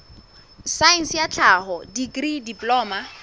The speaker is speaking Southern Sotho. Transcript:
saense ya tlhaho dikri diploma